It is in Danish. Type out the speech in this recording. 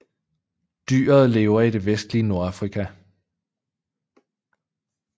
Dyret lever i det vestlige Nordamerika